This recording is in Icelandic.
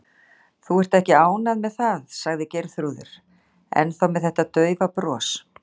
Þú ert ekki ánægð með það, sagði Geirþrúður, ennþá með þetta daufa bros.